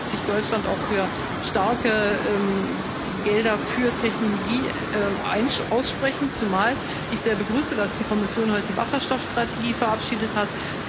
Aber da wird sich Deutschland auch für starke Gelder für Technologie aussprechen, zumal ich sehr begrüße, dass die Kommission heute die Wasserstoffstrategie verabschiedet hat.